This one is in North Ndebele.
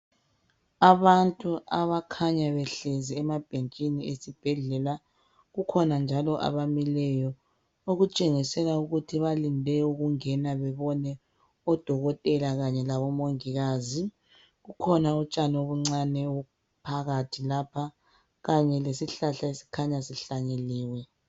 Abantu abakhanya behlezi emabhentshini esibhedlela kukhona njalo abamileyo okutshengisela ukuthi balinde ukungena bebone odokotela kanye labomongikazi. Kukhona utshani obuncane obuphakathi lapha kanye lesihlahla esikhanya sihlanyeliwe.